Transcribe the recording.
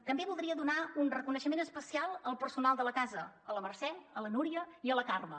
també voldria fer un reconeixement especial al personal de la casa a la mercè a la núria i a la carme